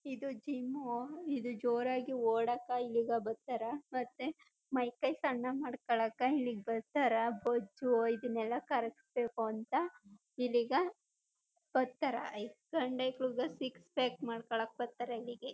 ಇದು ಜಿಮ್ಮು ಇದು ಜೋರಾಗೇ ಒಡಕ್ಕ ಇಲ್ಲಿ ಬತ್ತರ ಮತ್ತೆ ಮೈ ಕೈ ಸಣ್ಣ ಮಾಡ್ಕೊಳಕ್ಕ ಇಲ್ಲಿ ಬತ್ತರ ಬೊಜ್ಜು ಇದನೆಲ್ಲ ಕರ್ಗ್ಸ್ಬೇಕು ಅಂತ ಇಲ್ಲೀಗ ಬರ್ತಾರಾ ಸಣ್ಣ್ ಅಕೈಲು ಸಿಕ್ಸ್ ಪ್ಯಾಕ್ ಮಾಡ್ಕೊಳಕ್ ಬತ್ತರ ಇಲ್ಲಿಗೆ--